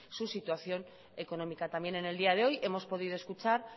su situación económica también en el día de hoy hemos podido escuchar